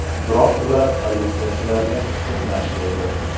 Biroq ular politsiyachilarga to‘qnash keldi.